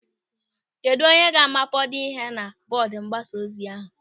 Kedụ onye ga-amapado ihe na bọọdụ mgbasa ozi ahụ?